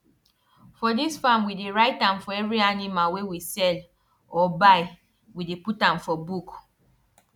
for dis farm we dey write am for every animal wey we sell or buy we dey put am for book